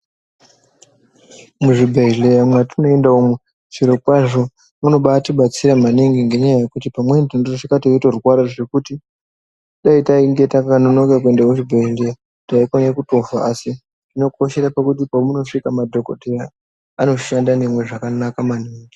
Muzvibhehleya matinoenda umu chirokwazvo munobaitibatsira maningi ngenyaya yekuti pamweni tinosvika teitorwara zvekuti dai tainge takanonoka kuenda kuhurumbwende taikona kutofa asi zvinokoshera pakuti pamunosvika madhokotera anoshanda nemizvakanaka maningi.